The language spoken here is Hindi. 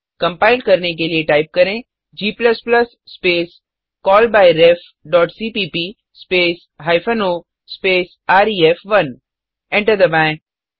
कंपाइल करने के लिए टाइप करें g स्पेस callbyrefसीपीप स्पेस हाइफेन ओ स्पेस रेफ1 एंटर दबाएँ